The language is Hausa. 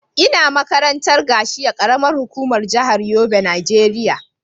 Ina makaranta a Gashua, karamar hukuma a jihar Yobe Nigeria.